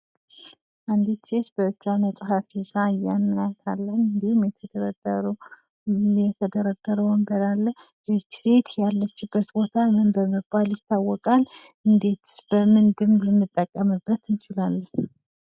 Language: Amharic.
ቤት: የግል ምቾት፣ ደህንነትና ፍቅር የሚሰማበት፤ ትዝታዎች የሚፈጠሩበትና ትውልዶች የሚተላለፉበት ልዩ ስፍራ ነው። የመረጋጋትና የእረፍት ማዕከል፣ የልብ ትርታ የሚሰማበት የነፍስ ቦታ ነው።